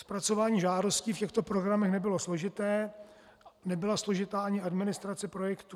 Zpracování žádostí v těchto programech nebylo složité, nebyla složitá ani administrace projektů.